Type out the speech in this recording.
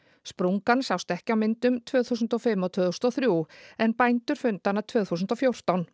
sprungan sást ekki á myndum tvö þúsund og fimm og tvö þúsund og þrjú en bændur fundu hana tvö þúsund og fjórtán